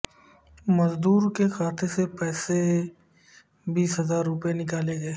مزدور کے کھاتے سے بیس ہزار روپئے نکالے گئے